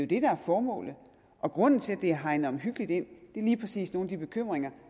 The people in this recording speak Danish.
det der er formålet og grunden til at det er hegnet omhyggeligt ind er lige præcis nogle af de bekymringer